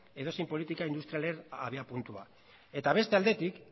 edozein politika industrialen abiapuntua eta beste aldetik